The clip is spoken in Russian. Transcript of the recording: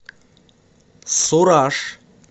сураж